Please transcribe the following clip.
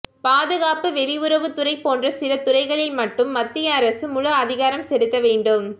பாதுகாப்பு வெளியுறவுத்துறை போன்ற சில துறைகளில் மட்டும் மத்திய அரசு முழு அதிகாரம் செலுத்த வேண்டும்